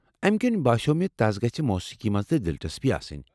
امہ کنۍ باسیٛوو مےٚ تس گژھِ موٗسیٖقی منٛز تہِ دلچسپی آسٕنۍ ۔